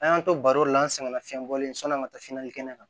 An y'an to baro la an sɛgɛnna fiɲɛ bɔlen sɔn'an ka taa kɛnɛ kan